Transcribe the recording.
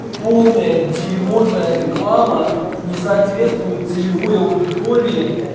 полное дерьмо твоя реклама не соответствует целевой аудитории